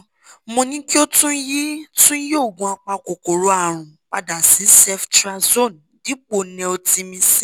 mo ní kí o tún yí tún yí oògùn apakòkòrò àrùn padà sí ceftriaxone dípò netilmicin